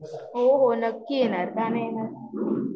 हो हो नक्की येणार का नाही येणार